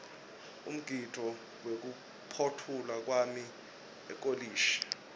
umgidvo wekuphotfulwa kwami ekolishi